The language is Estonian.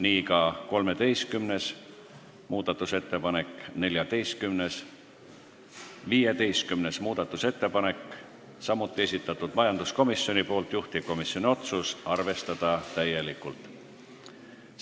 Nii ka 13., 14. ja 15. muudatusettepanek, samuti majanduskomisjoni esitatud, juhtivkomisjoni otsus: arvestada täielikult.